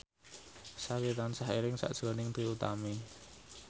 Sari tansah eling sakjroning Trie Utami